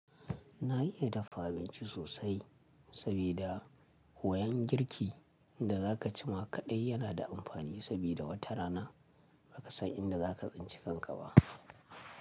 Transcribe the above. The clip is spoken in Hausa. Na iya dafa abinci sosai sabida koyan girki da za ka cima kaɗai yana da amfani sabida wata rana ba ka san inda za ka tsinci kanka ba.